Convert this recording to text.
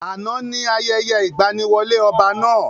Àná ni ayẹyẹ ìgbaniwọlé ọba náà.